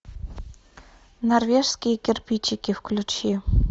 норвежские кирпичики включи